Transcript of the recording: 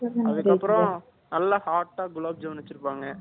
அதுக்கு அப்பறம் நல்லா hot அ gulab jamun வச்சியிருப்பாங்க